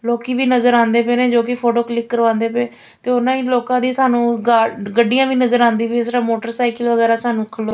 ਲੋਕੀ ਵੀ ਨਜ਼ਰ ਆਉਂਦੇ ਪਏ ਨੇ ਜੋ ਕਿ ਫੋਟੋ ਕਲਿੱਕ ਕਰਵਾਦੇ ਪਏ ਤੇ ਉਹਨਾਂ ਹੀ ਲੋਕਾਂ ਦੀ ਸਾਨੂੰ ਗੱਡੀਆਂ ਵੀ ਨਜ਼ਰ ਆਉਂਦੀਆਂ ਪਈ ਇਸ ਤਰ੍ਹਾਂ ਮੋਟਰਸਾਈਕਲ ਵਗੈਰਾ ਸਾਨੂੰ --